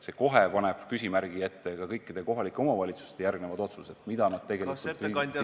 See paneb kohe küsimärgi ette ka kõikide kohalike omavalitsuste järgmised otsused, mida nad tegelikult kriisi korral tegema peavad.